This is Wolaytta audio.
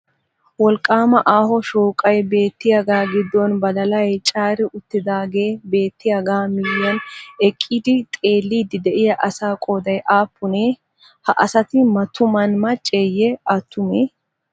Wolqqaama aaho shooqay beettiyagaa giddon badalay caari uttidaagee beettiyagaa miyiyan eqqidi xeelliiddi de'iya asaa qooday aappunee? Ha asati mattuman macceeyye attumee?